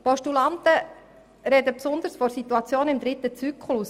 Die Postulanten sprechen insbesondere von der Situation im dritten Zyklus.